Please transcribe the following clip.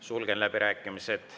Sulgen läbirääkimised.